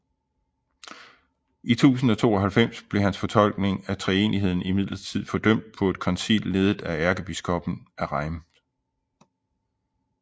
I 1092 blev hans fortolkning af treenigheden imidlertid fordømt på et koncil ledet af ærkebiskoppen af Reims